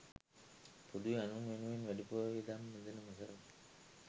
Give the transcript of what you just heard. පොදුවේ අනුන් වෙනුවෙන් වැඩිපුර වියදම් යෙදෙන වසරකි.